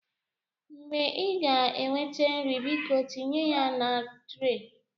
Mgbe ị ga-eweta nri, biko tinye ya na tre.